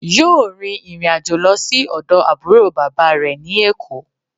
Yóò rin ìrìnàjò lo sí ọ̀dọ̀ àbúrò bàbá rẹ̀ ní Èkó